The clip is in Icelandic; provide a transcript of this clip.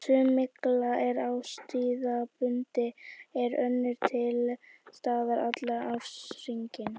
Sum mygla er árstíðabundin en önnur er til staðar allan ársins hring.